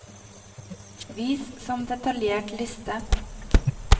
vis som detaljert liste